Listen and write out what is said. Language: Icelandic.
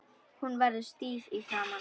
Hún verður stíf í framan.